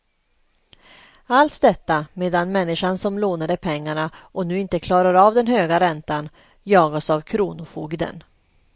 Allt detta medan människan som lånade pengarna och nu inte klarar av den höga räntan jagas av kronofogden.